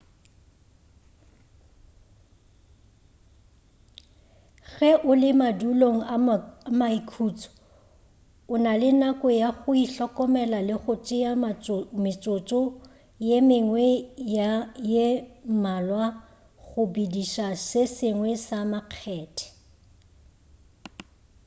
ge o le madulong a maikhutšo o na le nako ya go ihlokomela le go tšea metsotso ye mengwe ye mmalwa go bediša se sengwe sa makgethe